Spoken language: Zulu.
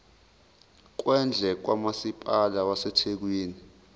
kwendle kamasipala wasethekwini